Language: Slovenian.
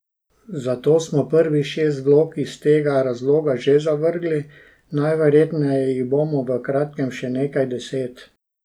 Zato smo prvih šest vlog iz tega razloga že zavrgli, najverjetneje jih bomo v kratkem še nekaj deset.